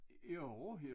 Jo